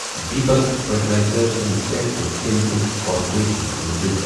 Deepak fertilizers and petrochemicals corporation limited.